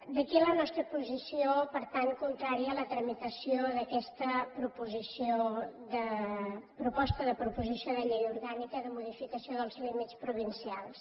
d’aquí la nostra posició per tant contrària a la tramitació d’aquesta proposta de proposició de llei orgànica de modificació dels límits provincials